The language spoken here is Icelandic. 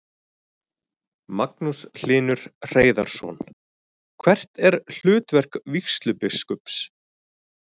Magnús Hlynur Hreiðarsson: Hvert er hlutverk vígslubiskups?